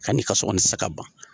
Ka n'i ka so kɔnɔ i te se ka ban.